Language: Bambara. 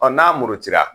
Ɔ n'a murutira